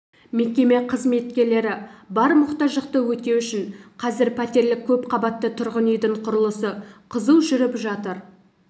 мекеме қызметкерлері бар мұқтаждықты өтеу үшін қазір пәтерлік көпқабатты тұрғын үйдің құрылысы қызу жүріп жатыр